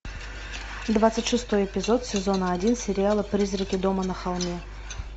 двадцать шестой эпизод сезона один сериала призраки дома на холме